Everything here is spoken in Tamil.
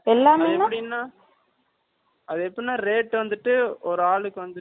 அது எப்படின்னா rate வந்துட்டு ஒரு ஆளுக்கு வந்துட்டு sunday போனா nine fifty நினைக்கிறேன்